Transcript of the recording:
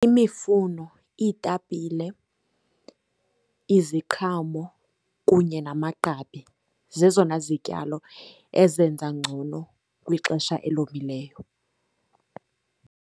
Imifuno, iitapile, iziqhamo, kunye namagqabi zezona zityalo ezenza ngcono kwixesha elomileyo.